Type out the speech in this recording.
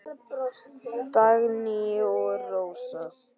Dagný og Rósa.